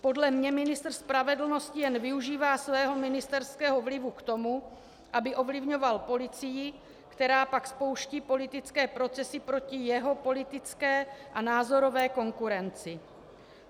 Podle mě ministr spravedlnosti jen využívá svého ministerského vlivu k tomu, aby ovlivňoval policii, která pak spouští politické procesy proti jeho politické a názorové konkurenci.